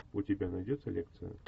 у тебя найдется лекция